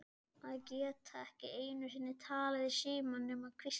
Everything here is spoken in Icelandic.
Að geta ekki einu sinni talað í símann nema hvísla.